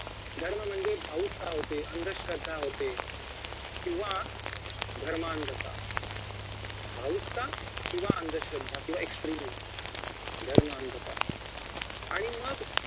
धर्म म्हणजे भावुकता होते अंधश्रद्धा होते किंवा धर्मांगता भावुकता किंवा अंधश्रद्धा किंवा extremism धर्मांगता आणि मग